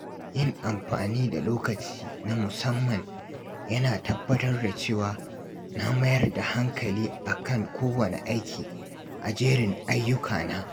Yin amfani da lokaci na musamman yana tabbatar da cewa na mayar da hankali a kan kowanne aiki a jerin ayyukana.